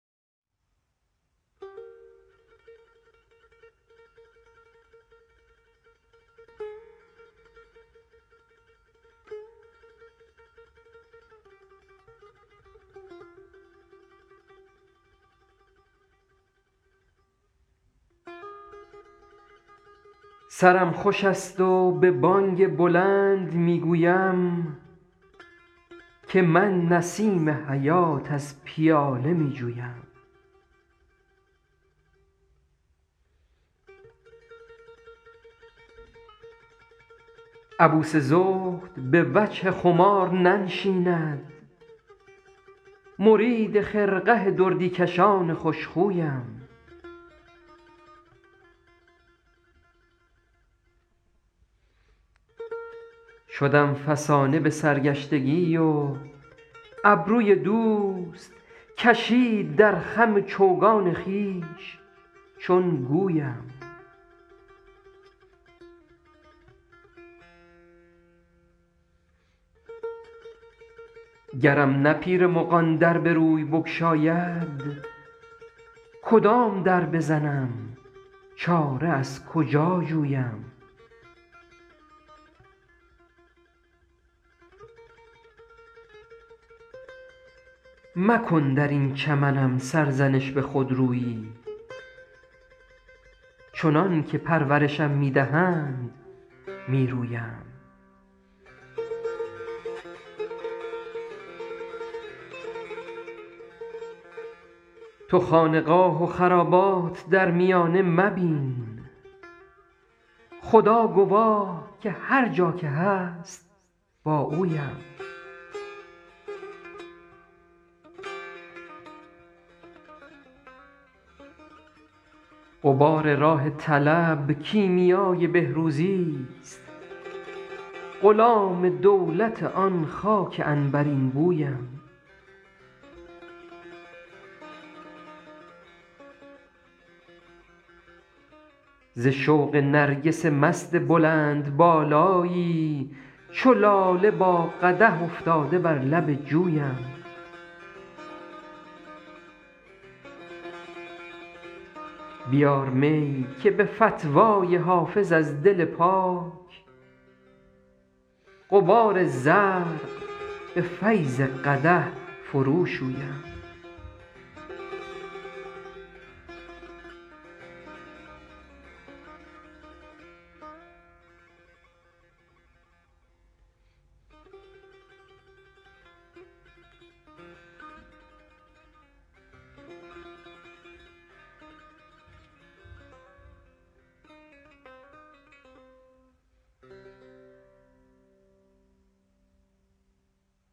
سرم خوش است و به بانگ بلند می گویم که من نسیم حیات از پیاله می جویم عبوس زهد به وجه خمار ننشیند مرید خرقه دردی کشان خوش خویم شدم فسانه به سرگشتگی و ابروی دوست کشید در خم چوگان خویش چون گویم گرم نه پیر مغان در به روی بگشاید کدام در بزنم چاره از کجا جویم مکن در این چمنم سرزنش به خودرویی چنان که پرورشم می دهند می رویم تو خانقاه و خرابات در میانه مبین خدا گواه که هر جا که هست با اویم غبار راه طلب کیمیای بهروزیست غلام دولت آن خاک عنبرین بویم ز شوق نرگس مست بلندبالایی چو لاله با قدح افتاده بر لب جویم بیار می که به فتوی حافظ از دل پاک غبار زرق به فیض قدح فروشویم